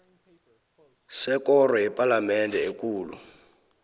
sekoro yepalamende ekulu